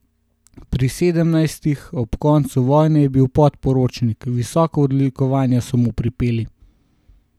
Pri sedemnajstih, ob koncu vojne, je bil podporočnik, visoka odlikovanja so mu pripeli.